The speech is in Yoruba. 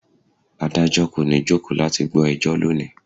Adájọ́ kò ní jókòó láti gbọ́ ẹjọ́ lónìí.